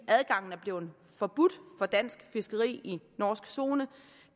at adgangen er blevet forbudt for dansk fiskeri i norsk zone